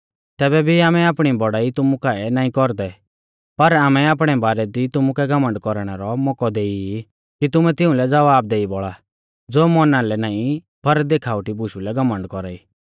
तैबै भी आमै आपणी बौड़ाई तुमु काऐ नाईं कौरदै पर आमै आपणै बारै दी तुमुकै घमण्ड कौरणै रौ मौकौ देई ई कि तुमैं तिउंलै ज़वाब देई बौल़ा ज़ो मौना लै नाईं पर देखावटी बुशु लै घमण्ड कौरा ई